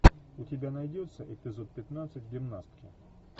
у тебя найдется эпизод пятнадцать гимнастки